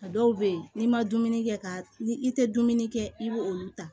A dɔw bɛ yen n'i ma dumuni kɛ ka ni i tɛ dumuni kɛ i b'olu ta